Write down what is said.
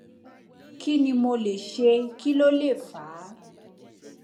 kí ni mo lè ṣe kí ló lè fà á